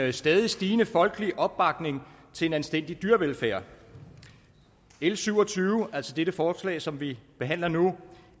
en stadig stigende folkelig opbakning til en anstændig dyrevelfærd l syv og tyve altså det forslag som vi behandler nu